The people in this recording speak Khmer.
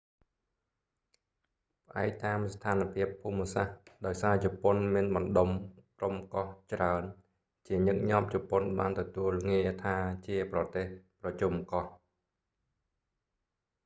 ផ្អែកតាម​ស្ថាន​ភាព​ភូមិ​សាស្ត្រ ដោយសារ​ជប៉ុន​មាន​បណ្ដុំ/ក្រុម​កោះ​ច្រើន ជា​ញឹកញាប់​ជប៉ុន​បាន​ទទួល​ងារ​ថា​ជា​ប្រទេស ប្រជុំកោះ"។